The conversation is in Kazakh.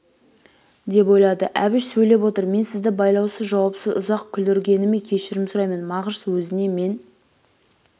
деп ойлады әбіш сөйлеп отыр мен сізді байлаусыз жауапсыз ұзақ күліргеніме кешірім сұраймын мағыш өзіне мен